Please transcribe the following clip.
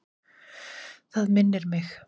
Það minnir mig.